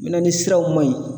Mina ni siraw ma ɲi